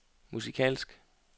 musikalsk